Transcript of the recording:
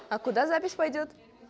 а куда запись пойдёт